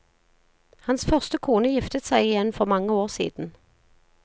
Hans første kone giftet seg igjen for mange år siden.